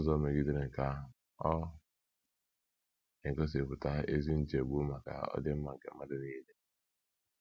N’ụzọ megidere nke ahụ, ọ na - egosipụta ezi nchegbu maka ọdịmma nke mmadụ nile.